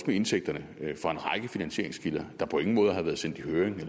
med indtægterne fra en række finansieringskilder der på ingen måde havde været sendt i høring